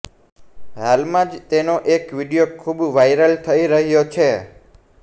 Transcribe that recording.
હાલમાં જ તેનો એક વીડિયો ખૂબ વાયરલ થઈ રહ્યો છે